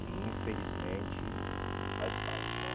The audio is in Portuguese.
Que infelizmente faz parte, né?